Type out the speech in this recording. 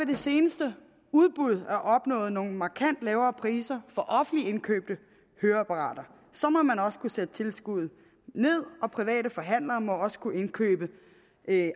det seneste udbud er opnået nogle markant lavere priser på offentligt indkøbte høreapparater så må man også kunne sætte tilskuddet ned og private forhandlere må også kunne indkøbe